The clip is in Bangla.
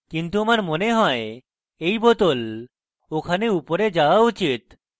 কিন্তু আমার মনে হয় এই bottle ওখানে উপরে যাওয়া উচিত